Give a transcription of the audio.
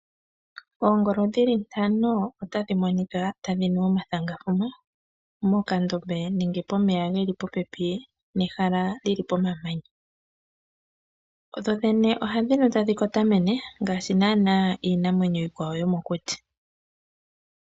Oongolo dhi li ntano otadhi monika tadhi nu omathangathana mokandombe ke li pomamanya nenge pomeya ge li popepi nehala li li pomamanya. Dho dhene ohadhi nu tadhi kotamene ngaashi naanaa iinamwenyo iikwawo yomokuti.